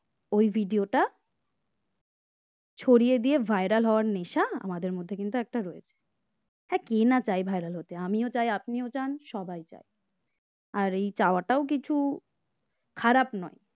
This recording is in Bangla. ওই video টা ছড়িয়ে দিয়ে viral হওয়ার নেশা আমাদের মধ্যে কিন্তু একটা রয়েছে । হ্যাঁ কে না চায় viral হতে আমিও চাই আপনিও চাই সবাই চাই আর এই চাওয়াটাও কিছু খারাপ নয়